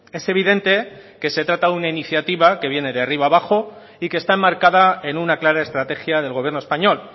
es evidente que se trata de una iniciativa que viene de arriba abajo y que está enmarcada en una clara estrategia del gobierno español